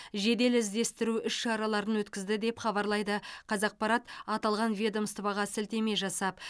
жедел іздестіру іс шараларын өткізді деп хабарлайды қазақпарат аталған ведомствоға сілтеме жасап